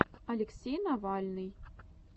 алексей навальный